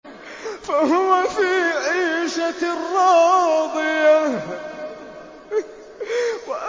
فَهُوَ فِي عِيشَةٍ رَّاضِيَةٍ